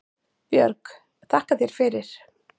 Björg: Þakka þér fyrir